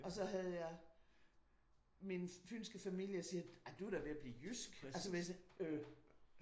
Og så havde jeg min fynske familie siger ej du er da ved at blive jysk altså så er jeg ved at sige øh